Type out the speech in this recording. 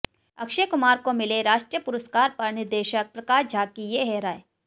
अक्षय कुमार को मिले राष्ट्रीय पुरस्कार पर निर्देशक प्रकाश झा की ये है राय